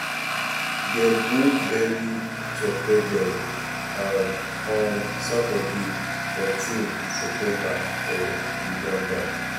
dem go bury cheptegei um on saturday 14 september for uganda.